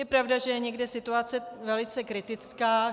Je pravda, že je někde situace velice kritická.